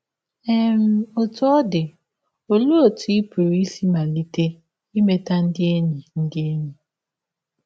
um Ọtụ ọ dị, ọlee ọtụ ị pụrụ isi malite imeta ndị enyi ndị enyi?